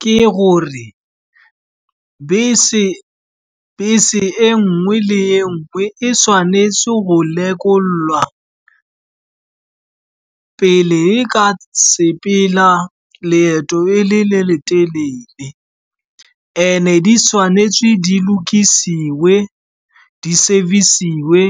Ke gore bese e nngwe le nngwe e tshwanetse go lekolwa pele e ka sepela leeto e le le telele, and-e di tshwanetse di lokiswe, di-service-we